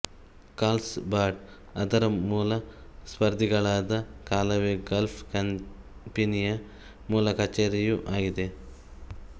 Carls ಬಾಡ್ ಅದರ ಮೂಲ ಸ್ಪರ್ಧಿಗಳಾದ ಕಾಲವೇ ಗಾಲ್ಫ್ ಕಂಪನಿಯ ಮೂಲಕಚೇರಿಯೂ ಆಗಿದೆ